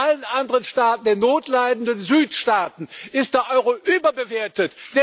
In allen anderen Staaten, in den notleidenden Südstaaten ist der Euro überbewertet.